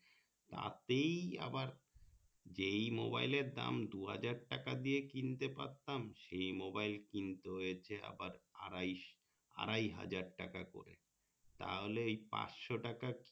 তাতেই আবার যেই মোবাইলের দাম দুহাজার টাকা দিয়ে কিনতে পারতাম সেই মোবাইল কিনতে হচ্ছে আবার আড়াইশো আড়াই হাজার টাকা করে তাহলেএই পাঁচশো টাকা